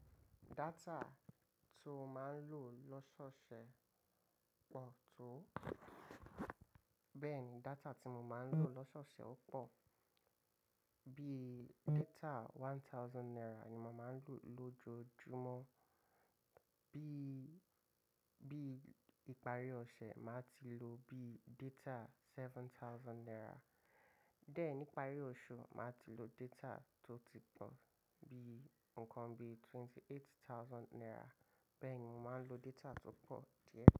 Data tí o máa ń lò lọ́sọ̀ọ̀sẹ̀ pọ̀ tó. Bẹ́ẹ̀ ni data tí mo máa ń lò lọ́sọ̀ọ̀sẹ̀ ó pọ̀. Bí data Náírà ẹgbẹ̀rún kan ni màá ń lò lójoojúmọ́. Bí, bí ìparí ọ̀sẹ̀, màá ti lo bí data Náírà ẹgbẹ̀rún méje. Dè ẹ́ ní ìparí oṣù, màá ti lo data tó ti pọ̀ bí nǹkan bí Náírà ẹgbẹ̀rún mẹ́jìdínlọ́gbọ̀n. Bẹ́ẹ̀ ni mo máa ń lo data tó pọ̀ díẹ̀